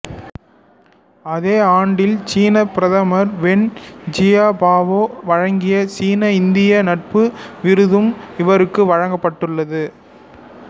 அதே ஆண்டில் சீனப் பிரதமர் வென் ஜியாபாவோ வழங்கிய சீனாஇந்தியா நட்பு விருதும் இவருக்கு வழங்கப்பட்டுள்ளது